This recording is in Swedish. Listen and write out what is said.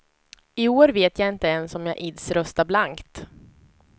I år vet jag inte ens om jag ids rösta blankt.